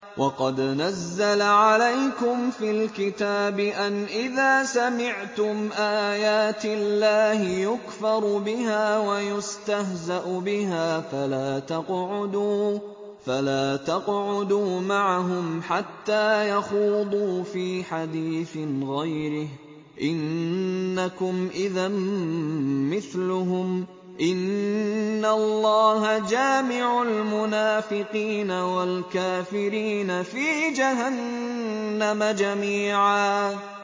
وَقَدْ نَزَّلَ عَلَيْكُمْ فِي الْكِتَابِ أَنْ إِذَا سَمِعْتُمْ آيَاتِ اللَّهِ يُكْفَرُ بِهَا وَيُسْتَهْزَأُ بِهَا فَلَا تَقْعُدُوا مَعَهُمْ حَتَّىٰ يَخُوضُوا فِي حَدِيثٍ غَيْرِهِ ۚ إِنَّكُمْ إِذًا مِّثْلُهُمْ ۗ إِنَّ اللَّهَ جَامِعُ الْمُنَافِقِينَ وَالْكَافِرِينَ فِي جَهَنَّمَ جَمِيعًا